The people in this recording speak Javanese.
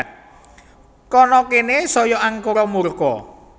Kana kene saya angkara murka